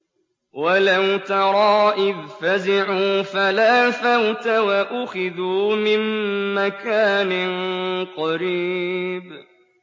وَلَوْ تَرَىٰ إِذْ فَزِعُوا فَلَا فَوْتَ وَأُخِذُوا مِن مَّكَانٍ قَرِيبٍ